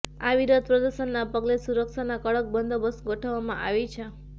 આ વિરોધ પ્રદર્શનના પગલે સુરક્ષાના કડક બંદોબસ્ત ગોઠવવામા આવી છે